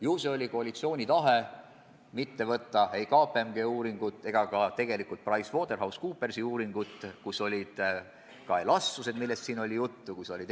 Ju see oli koalitsiooni tahe mitte võtta aluseks ei KPMG uuringut ega ka PricewaterhouseCoopersi uuringut, kus olid kirjas ka elastsused, millest siin juttu oli.